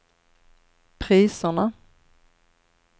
priserna